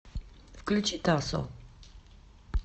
включи тасо